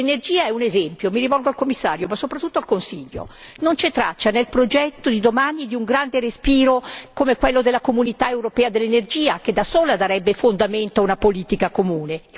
L'energia è un esempio, mi rivolgo al Commissario, ma soprattutto al Consiglio non c'è traccia nel progetto di domani di un grande respiro come quello della comunità europea dell'energia, che da sola darebbe fondamento a una politica comune.